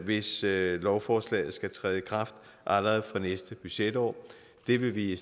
hvis lovforslaget skal træde i kraft allerede fra næste budgetår det vil vi